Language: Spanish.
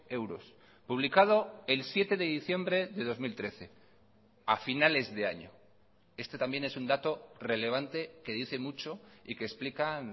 euros publicado el siete de diciembre de dos mil trece a finales de año este también es un dato relevante que dice mucho y que explican